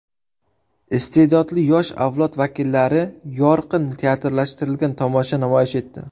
Iste’dodli yosh avlod vakillari yorqin teatrlashtirilgan tomosha namoyish etdi.